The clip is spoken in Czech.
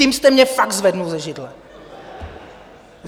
Tím jste mě fakt zvedl ze židle.